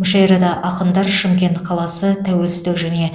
мүшәйрада ақындар шымкент қаласы тәуелсіздік және